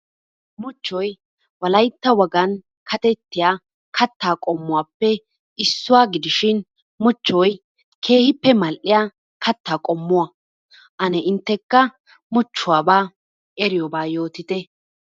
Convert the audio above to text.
Muchchoy wolaytta wogan kattetiya katta qommuwappe issuwa gidishin muchchoy keehippe mal"iya katta qommuwaa. Ane inttekka muchchuwaba eriyobaa yootite.